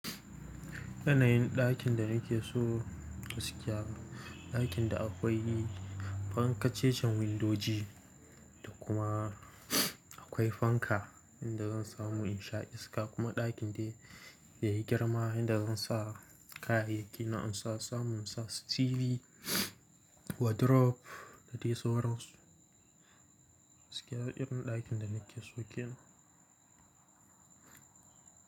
Yanayin ɗakin da nake so su siya ni, ɗakin da akwai fankar cejen windoji da kuma akwai fanka inda zan samu in sha iska kuma ɗakin da ya yi girma inda zan sa kayayyaki na in sa samu in sa su TV, wardrobe da dai sauran su. Su siya irin ɗakin da nake shikenan.